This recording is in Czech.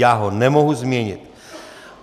Já ho nemohu změnit!